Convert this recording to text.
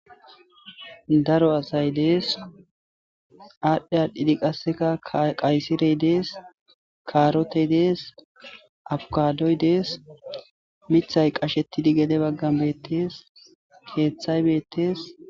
daro asayi dees.adhdh adhdhidd qasekka qayisireyi dees.kaaroteyi dees.abikadoyi dees.miththayi qachchetid gede baganni betes,keththayi betees.